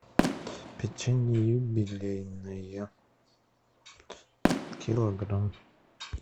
печенье юбилейное килограмм